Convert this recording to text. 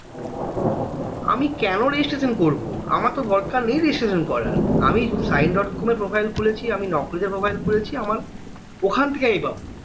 আমি কেন registration করব আমার তো দরকার নেই registration করার আমি সাইন dot com এ profile খুলেছি আমিনকরি তে profile খুলেছি আমার ওখান থেকে আমি পাবো